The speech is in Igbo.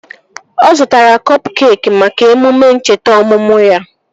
Ọ zụtara kọp keekị maka emume ncheta ọmụmụ ya